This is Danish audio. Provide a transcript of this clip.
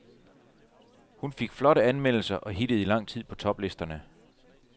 Hun fik flotte anmeldelser og hittede i lang tid på toplisterne.